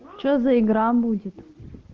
что за игра будет